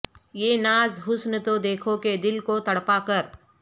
یہ ناز حسن تو دیکھو کہ دل کو تڑپا کر